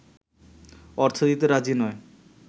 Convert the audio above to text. অর্থ দিতে রাজি নয়